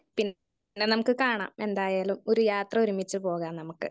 Speaker 1 പിന്നെ നമുക്ക് കാണാം എന്തായാലും ഒരു യാത്ര ഒരുമിച്ചു പോകാം നമുക്ക്.